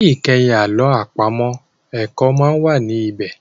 Ní ìkẹyìn àlọ́ àpamọ̀, ẹ̀kọ́ máa ń wà ní bẹ̀